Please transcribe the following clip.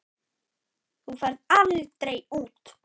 Þú ferð aldrei út.